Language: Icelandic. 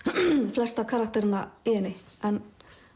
flesta karakterana í henni en